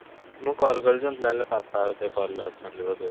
ମୁଁ call କରିଛି ମତେ ଲାଗିଲା ପାପା ବୋଧେ call ରେ ଅଛନ୍ତି ବୋଧେ